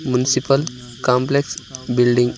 Municipal complex building.